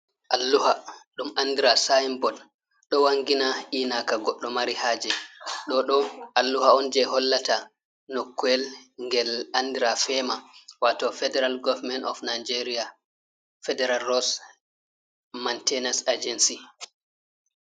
Alluha ɗum andira sinbot ɗo wangina inaka goɗɗo mari haje, ɗoɗo alluha on je hollata noku'el gel andira fema wato federal goverment of nigeria federal ross mantenos agency.